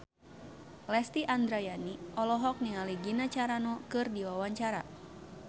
Lesti Andryani olohok ningali Gina Carano keur diwawancara